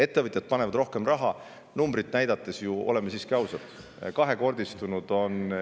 Ettevõtjad panevad rohkem raha, nagu numbreid vaadates on näha.